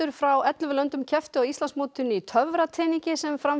frá ellefu löndum kepptu á Íslandsmótinu í töfrateningi sem fór fram